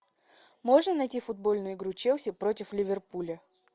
можно найти футбольную игру челси против ливерпуля